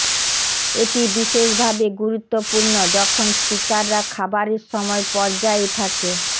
এটি বিশেষভাবে গুরুত্বপূর্ণ যখন স্পিকাররা খাবারের সময় পর্যায়ে থাকে